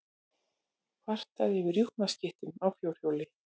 Kvartað yfir rjúpnaskyttum á fjórhjóli